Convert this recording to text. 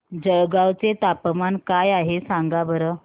जळगाव चे तापमान काय आहे सांगा बरं